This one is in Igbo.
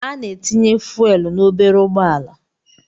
Ana etinye fuelu na obere ụgbọala.